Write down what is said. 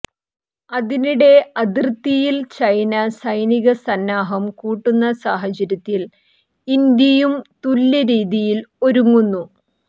അതിനിടെ അതിർത്തിയിൽ ചൈന സൈനിക സന്നാഹം കൂട്ടുന്ന സാഹചര്യത്തിൽ ഇന്ത്യയും തുല്യരീതിയിൽ ഒരുങ്ങുന്നു